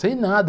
Sem nada.